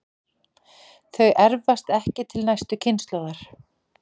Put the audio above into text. Þau erfast ekki til næstu kynslóðar.